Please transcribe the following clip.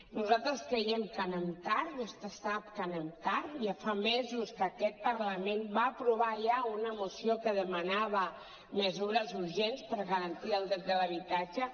nosaltres creiem que anem tard vostè sap que anem tard ja fa mesos que aquest parlament va aprovar ja una moció que demanava mesures urgents per garantir el dret de l’habitatge